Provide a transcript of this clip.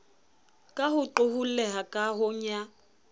ka ho qoholleha kahong ya